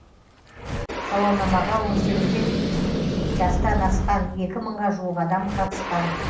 сауалнамаға он сегізден жастан асқан екі мыңға жуық адам қатысқан